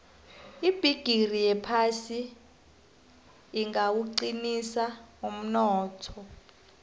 ibhigiri yephasi ingawuqinisa umnotho